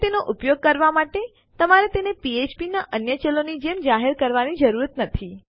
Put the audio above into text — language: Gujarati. હવે તેનો ઉપયોગ કરવા માટે તમારે તેને ફ્ફ્પ ના અન્ય ચલોની જેમ જાહેર કરવાની જરૂર નથી